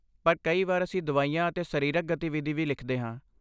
ਪਰ ਕਈ ਵਾਰ ਅਸੀਂ ਦਵਾਈਆਂ ਅਤੇ ਸਰੀਰਕ ਗਤੀਵਿਧੀ ਵੀ ਲਿਖਦੇ ਹਾਂ।